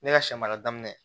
Ne ka sɛ mara daminɛ